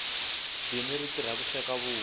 dini ri tirha ku sweka vuswa